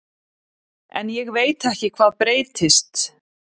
En ég veit ekki hvað breytist.